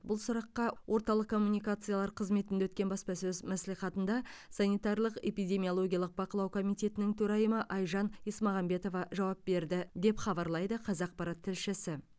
бұл сұраққа орталық коммуникациялар қызметінде өткен баспасөз мәслихатында санитарлық эпидемиологиялық бақылау комитетінің төрайымы айжан есмағамбетова жауап берді деп хабарлайды қазақпарат тілшісі